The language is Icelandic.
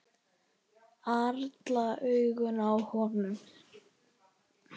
Allra augu á honum.